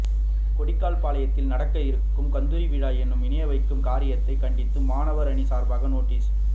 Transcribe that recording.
கொடிக்கால்பாளையத்தில் நடக்க இருக்கும் கந்தூரி விழா எனும் இணை வைக்கும் காரியத்தை கண்டித்து மாணவர் அணி சார்பாக நோட்டிஸ்